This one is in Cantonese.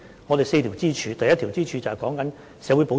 我們有4根支柱，第一根支柱是社會保障。